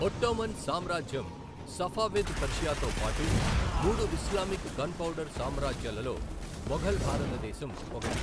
Ottoman సామ్రాజ్యం, Safavid పర్షియాతో పాటు మూడు ఇస్లామిక్ గన్పౌడర్ సామ్రాజ్యాలలో మొఘల్ భారతదేశం ఒకటి.